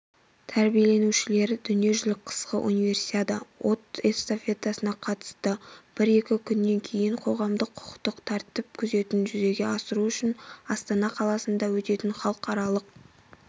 тәрбиленушілері дүниежүзілік қысқы универсиада от эстафетасына қатысты бір-екі күннен кейін қоғамдық құқықтық тәртіп күзетін жүзеге асыру үшін астана қаласында өтетін халықаралық